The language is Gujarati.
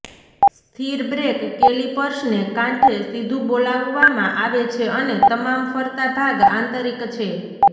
સ્થિર બ્રેક કેલિપર્સને કાંઠે સીધું બોલાવવામાં આવે છે અને તમામ ફરતા ભાગ આંતરિક છે